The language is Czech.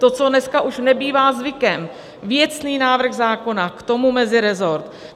To, co dneska už nebývá zvykem, věcný návrh zákona, k tomu meziresort.